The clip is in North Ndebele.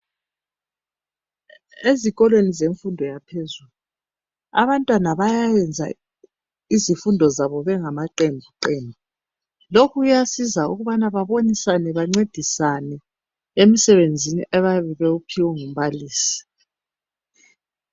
ezikolweni zemfundo yaphezulu abantwana bayayenza izimfundo zabo bengamaqembuqembu lokhu kuyasiza ukubana bebonisane bancedisane emisebenzini abayiphiwe ngumbalisi